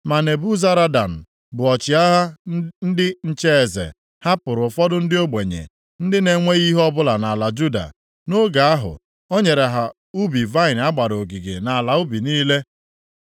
Ma Nebuzaradan bụ ọchịagha ndị nche eze, hapụrụ ụfọdụ ndị ogbenye, ndị na-enweghị ihe ọbụla nʼala Juda. Nʼoge ahụ, o nyere ha ubi vaịnị a gbara ogige na ala ubi niile.